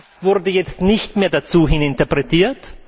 Das wurde jetzt nicht mehr dazu interpretiert.